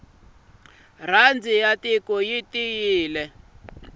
rhandi ya tiko yi tiyile